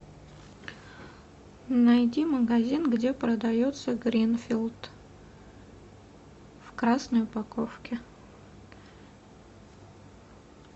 найди магазин где продается гринфилд в красной упаковке